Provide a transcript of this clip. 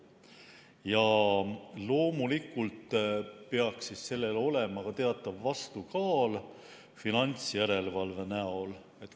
Ja loomulikult peaks sellel olema ka teatav vastukaal finantsjärelevalve näol.